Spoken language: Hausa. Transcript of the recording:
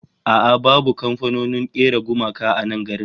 A'a babu kamfanonin kera gumaka a nan garin